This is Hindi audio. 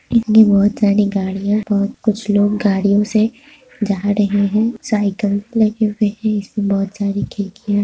इसमे बहुत सारी गाड़ियां और कुछ लोग गाड़ियों से जा रहे हैं साईकल साइकिल वही इसमे बहुत सारी खिड़किया--